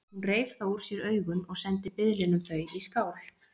Hún reif þá úr sér augun og sendi biðlinum þau í skál.